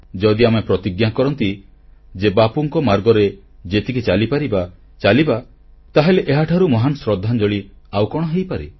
ଯଦି ଆମେ ପ୍ରତିଜ୍ଞା କରିବା ଯେ ବାପୁଙ୍କ ମାର୍ଗରେ ଯେତିକି ଚାଲିପାରିବା ଚାଲିବା ତାହେଲେ ଏହାଠାରୁ ମହାନ ଶ୍ରଦ୍ଧାଞ୍ଜଳି ଆଉ କଣ ହେଇପାରେ